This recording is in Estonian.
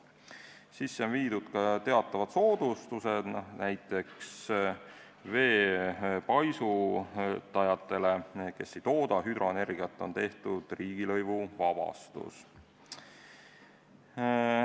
Sisse on viidud ka teatavad soodustused, näiteks veepaisutajatele, kes ei tooda hüdroenergiat, on kehtestatud riigilõivuvabastus.